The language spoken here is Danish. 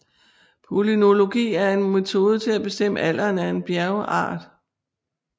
Palynologi er en metode til at bestemme alderen af en bjergart